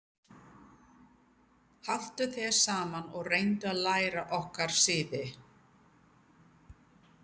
Haltu þér saman og reyndu að læra okkar siði.